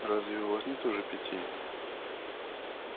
разве у вас нет уже пяти